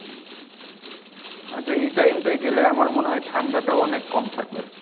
আচ্ছা এই time টায় গেলে আমার মনে হয় ঠান্ডাটাও অনেক কম থাকবে।